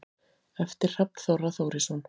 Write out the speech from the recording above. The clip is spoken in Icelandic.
eftir hrafn þorra þórisson